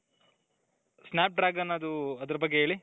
snap dragon ಅದೂ ಅದರ ಬಗ್ಗೆ ಹೇಳಿ.